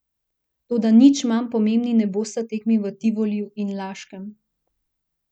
Toda nič manj pomembni ne bosta tekmi v Tivoliju in Laškem.